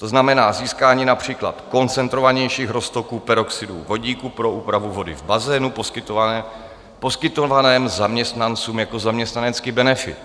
To znamená získání například koncentrovanějších roztoků peroxidu vodíku pro úpravu vody v bazénu poskytovaném zaměstnancům jako zaměstnanecký benefit.